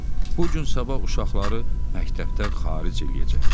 bu gün sabah uşaqları məktəbdən xaric eləyəcəklər.